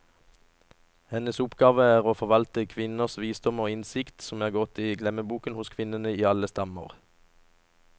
Hennes oppgave er å forvalte kvinners visdom og innsikt, som er gått i glemmeboken hos kvinnene i alle stammer.